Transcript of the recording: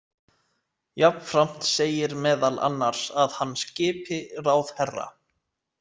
Jafnframt segir meðal annars að hann skipi ráðherra.